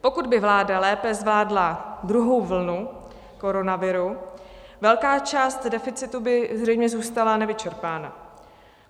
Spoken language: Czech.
Pokud by vláda lépe zvládla druhou vlnu koronaviru, velká část deficitu by zřejmě zůstala nevyčerpána.